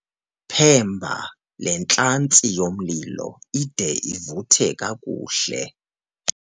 Phemba le ntlantsi yomlilo ide ivuthe kakuhle.